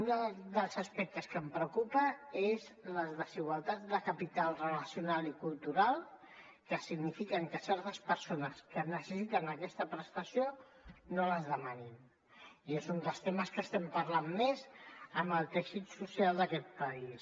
un dels aspectes que em preocupa són les desigualtats de capital relacional i cultural que significa que certes persones que necessiten aquesta prestació no les demanin i és un dels temes de què estem parlant més amb el teixit social d’aquest país